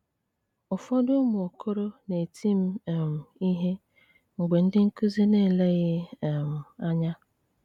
Ụfọdụ ụmụ okoro na-eti m um ihe mgbe ndị nkụzi na-eleghị um anya.